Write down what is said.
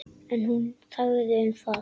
En hún þagði um það.